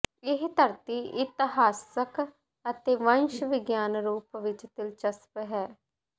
ਇਹ ਧਰਤੀ ਇਤਿਹਾਸਕ ਅਤੇ ਵੰਸ਼ ਵਿਗਿਆਨ ਰੂਪ ਵਿੱਚ ਦਿਲਚਸਪ ਹੈ